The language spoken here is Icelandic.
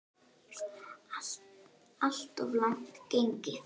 Alltof langt gengið.